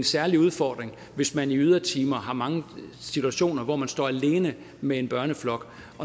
særlig udfordring hvis man i ydertimer har mange situationer hvor man står alene med en børneflok